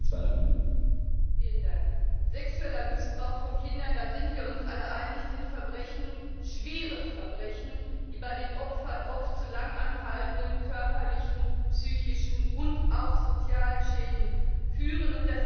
Herr Präsident! Sexueller Missbrauch von Kindern da sind wir uns alle einig das sind Verbrechen, schwere Verbrechen, die bei den Opfern oft zu langanhaltenden körperlichen, psychischen und auch sozialen Schäden führen.